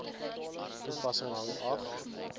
toepassing hang af